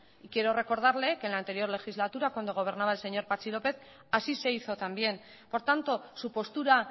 quiero recordarle que en la anterior legislatura cuando gobernaba el señor patxi lópez así se hizo también por tanto su postura